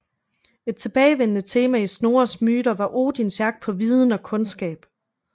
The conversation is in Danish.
Et tilbagevendende tema i Snorres myter var Odins jagt på viden og kundskab